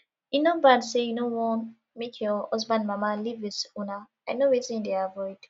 e no bad say you no wan make your husband mama live with una i know wetin you dey avoid